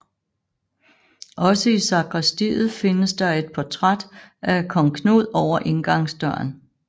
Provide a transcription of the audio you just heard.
Også i sakristiet findes der et portræt af kong Knud over indgangsdøren